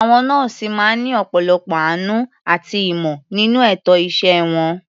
Àwọn nọ́ọ̀sì máa ń ní ọ̀pọ̀lọpọ̀ àánú àti ìmọ̀ nínú ètò iṣẹ́ wọn.